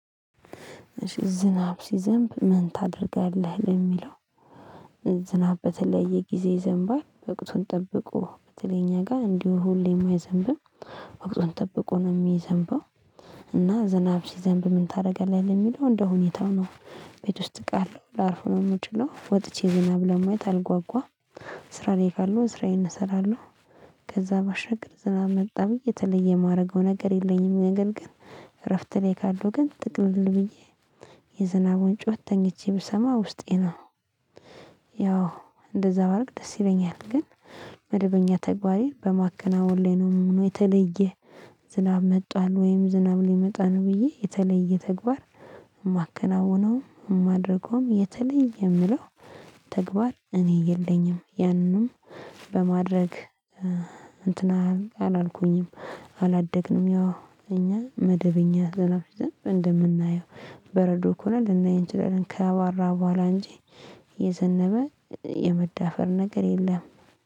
እሺ ዝናብ ሲዘንብ ምን ታደርጋለህ ለሚለው? ዝናብ በተለየ ጊዜ ይዘንባል ወቅቱን ጠብቆ በተለይ እኛ ጋር እንዲሁ ሁሌም አይዘንብም ወቅቱን ጠብቆ ነው የሚዘንበው። እና ዝናብ ሲዘንብ ምን ታደርጋለህ ለሚለው? እንደው ሁኔታው ነው ቤት ውስጥ እቃለሁ ላርፉ ነው የምችለው ወጥቼ ዝናብ ለማየት አልጓጓም። ስራ ላይ ካለሁ ስራዬን እሰራለሁ። ከዛ ባሻግር ዝናብ መጣ ብዬ የተለየ የማደርገው ነገር የለኝም። ነገር ግን እረፍት ላይ ካለሁ ግን ጥቅልል ብዬ የዝናቡን ጩኸት ተኝቼ ብሰማ ውስጤ ነው። ያው እንደዛ ባደርግ ደስ ይለኛል። ግን መደበኛ ተግባሬን በማከናወን ላይ ነው የምሆነው። የተለየ ዝናብ መጥቷል ወይም ዝናብ ሊመጣ ነው ብዬ የተለየ ተግባር የማከናውነው የማድረገውም የተለየ የምለው ተግባር እኔ የለኝም። ያንንም በማድረግ እንትን አላልኩኝም። አላደግንም ያው እኛ መደበኛ ዝናብ ሲዘንብ እንደምናየው በረዶ ከሆነ ልናየው እንችላለን። ካቧራ በኋላ እንጂ የዘነበ የመዳፈር ነገር የለም።